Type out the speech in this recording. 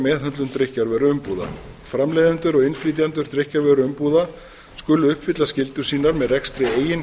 meðhöndlun drykkjarvöruumbúða framleiðendur og innflytjendur drykkjarvöruumbúða skulu uppfylla skyldur sínar með rekstri eigin